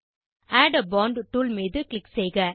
add a font tool மீது click செய்க